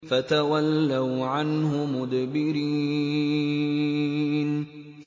فَتَوَلَّوْا عَنْهُ مُدْبِرِينَ